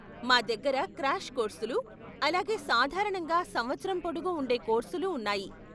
మా దగ్గర క్రాష్ కోర్సులు, అలాగే సాధారణంగా సంవత్సరం పొడుగు ఉండే కోర్సులు ఉన్నాయి.